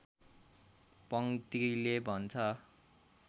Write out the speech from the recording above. पङ्क्तिले भन्छ